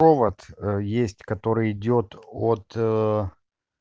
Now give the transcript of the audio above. провод есть который идёт от